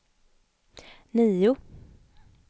nio